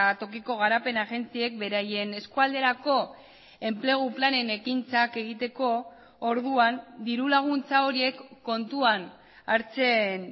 tokiko garapen agentziek beraien eskualderako enplegu planen ekintzak egiteko orduan dirulaguntza horiek kontuan hartzen